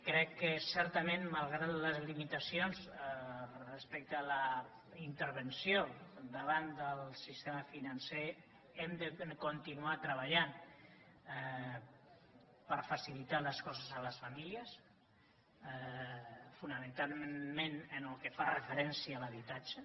crec que certament malgrat les limitacions respecte a la intervenció davant del sistema financer hem de continuar treballant per facilitar les coses a les famílies fonamentalment en el que fa referència a l’habitatge